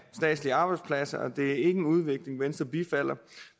statslige arbejdspladser og det er ikke en udvikling venstre bifalder